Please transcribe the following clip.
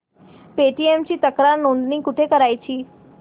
Paytm ची तक्रार नोंदणी कुठे करायची